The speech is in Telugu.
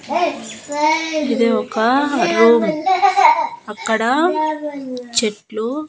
ఇది ఒక రూమ్ అక్కడ చెట్లు.